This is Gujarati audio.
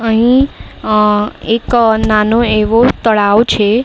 અહીં અહ એક નાનો એવો તળાવ છે.